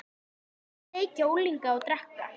Hann sat á kirkjutröppunum og var að tálga spýtu.